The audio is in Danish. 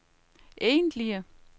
egentlige